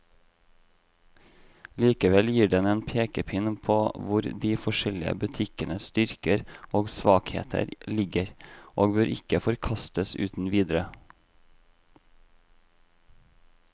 Likevel gir den en pekepinn på hvor de forskjellige butikkenes styrker og svakheter ligger, og bør ikke forkastes uten videre.